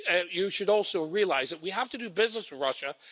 you should also realise that we have to do business with Russia.